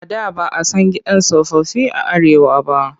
A da ba a san gidan tsofaffi a Arewa ba.